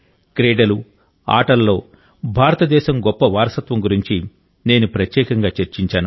క్రీడలు ఆటలలో భారతదేశం గొప్ప వారసత్వం గురించి నేను ప్రత్యేకంగా చర్చించాను